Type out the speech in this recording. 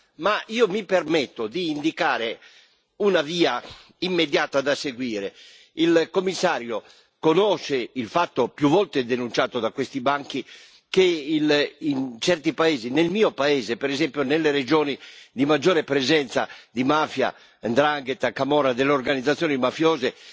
Ma io mi permetto di indicare una via immediata da seguire. Il Commissario conosce il fatto, più volte denunciato da questi banchi, che in certi paesi come nel mio paese, per esempio nelle regioni di maggiore presenza di mafia, ndrangheta, camorra e delle organizzazioni mafiose,